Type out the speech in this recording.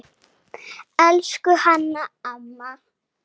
Elsku Hanna amma.